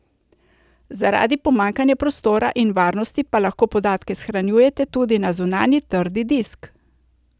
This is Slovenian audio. Zaradi pomanjkanja prostora in varnosti pa lahko podatke shranjujete tudi na zunanji trdi disk.